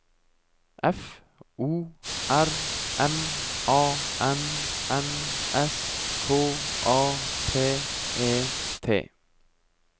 F O R M A N N S K A P E T